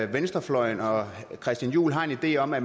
venstrefløjen og christian juhl har en idé om at